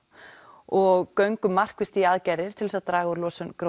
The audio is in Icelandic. og göngum markvisst í aðgerðir til þess að draga úr losun